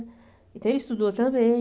Então ele estudou também.